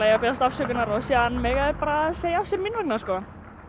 að biðjast afsökunar og síðan mega þeir bara segja af sér mín vegna sko